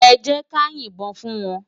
Èjèká yin bòn fún wán